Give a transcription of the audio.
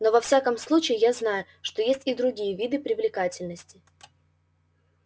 но во всяком случае я знаю что есть и другие виды привлекательности